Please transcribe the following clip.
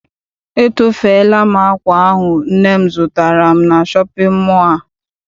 Etofela m akwa ahụ nne m zụtara m na shọpịn mọọ a.